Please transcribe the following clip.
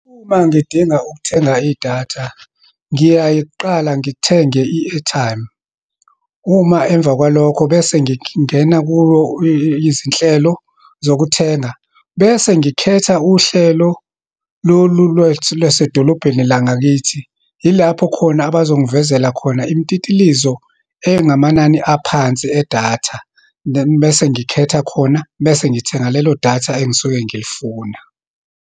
Uma ngidinga ukuthenga idatha, ngiyaye kuqala, ngithenge i-airtime. Uma emva kwalokho, bese ngingena kuwo izinhlelo zokuthenga. Bese ngikhetha uhlelo, lolu lwethu lwasedolobheni la ngakithi, yilapho khona abazongivezela khona imtitilizo engamanani aphansi edatha. Bese ngikhetha khona. Bese ngithenga lelo datha engisuke ngilifuna.